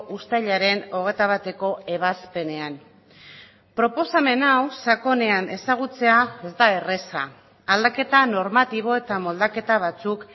uztailaren hogeita bateko ebazpenean proposamen hau sakonean ezagutzea ez da erraza aldaketa normatibo eta moldaketa batzuk